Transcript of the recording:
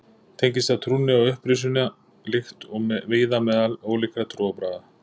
tengist það trúnni á upprisuna líkt og víða meðal ólíkra trúarbragða